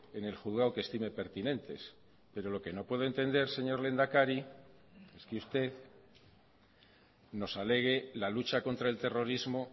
en el juzgado que estime pertinentes pero lo que no puedo entender señor lehendakari es que usted nos alegue la lucha contra el terrorismo